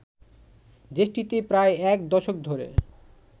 দেশটিতে প্রায় এক দশক ধরে